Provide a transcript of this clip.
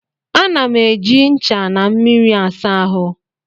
Ana m eji ncha na mmiri asa ahụ